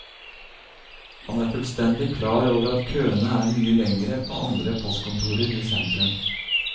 Han er fullstendig klar over at køene er mye lengre på andre postkontorer i sentrum.